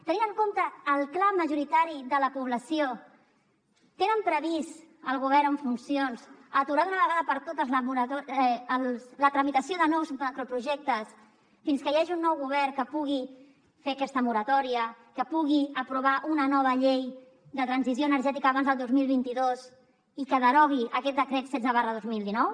tenint en compte el clam majoritari de la població tenen previst el govern en funcions aturar d’una vegada per totes la tramitació de nous macroprojectes fins que hi hagi un nou govern que pugui fer aquesta moratòria que pugui aprovar una nova llei de transició energètica abans del dos mil vint dos i que derogui aquest decret setze dos mil dinou